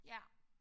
Ja